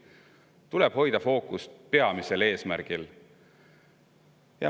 Tuleb hoida fookust peamisel eesmärgil.